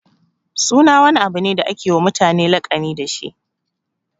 Suna wani abu ne da ake wa mutane laƙani dashi.